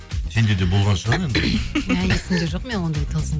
сенде де болған шығар енді мә есімде жоқ менің ондай тылсым